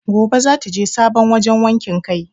Gobe zata je sabon wajan wakin kai